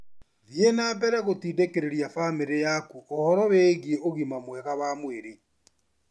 Thiĩ na mbere gũtindĩkĩrĩria famĩlĩ yaku ũhoro wĩgiĩ ũgima mwega wa mwĩrĩ.